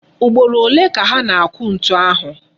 Ugboro ole ka ha na-akụ ntu ahụ?